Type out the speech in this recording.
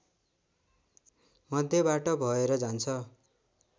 मध्यबाट भएर जान्छ